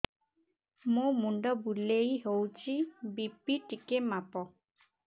ମୋ ମୁଣ୍ଡ ବୁଲେଇ ହଉଚି ବି.ପି ଟିକେ ମାପ